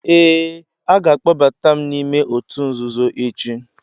Ee, a ga-akpọbatam ​​m n'ime òtù nzuzo echi.